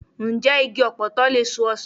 Ǹjẹ́ igi ọ̀pọ̀tọ́ lè so ọsàn?